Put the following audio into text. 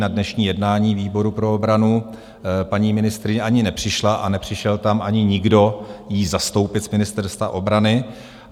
Na dnešní jednání výboru pro obranu paní ministryně ani nepřišla a nepřišel tam ani nikdo ji zastoupit z Ministerstva obrany.